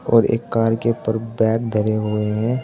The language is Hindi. और एक कार के ऊपर बैग धरे हुए हैं।